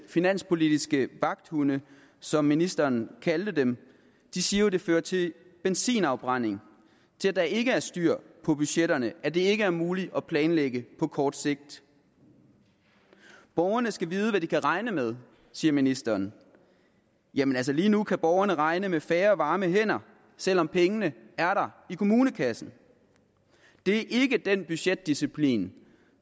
finanspolitiske vagthunde som ministeren kaldte dem siger jo at det fører til benzinafbrænding til at der ikke er styr på budgetterne og at det ikke er muligt at planlægge på kort sigt borgerne skal vide hvad de kan regne med siger ministeren jamen lige nu kan borgerne altså regne med færre varme hænder selv om pengene er der i kommunekassen det er ikke den budgetdisciplin